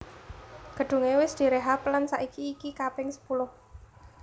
Gedunge wis direhab lan saiki iki kaping sepuluh